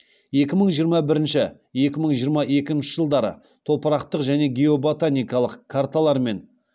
екі мың жиырма бірінші екі мың жиырма екінші жылдары топырақтық және геоботаникалық карталармен